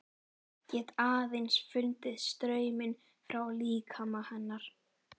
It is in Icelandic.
Get aðeins fundið strauminn frá líkama hennar.